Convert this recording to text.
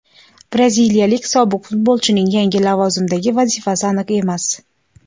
Braziliyalik sobiq futbolchining yangi lavozimdagi vazifasi aniq emas.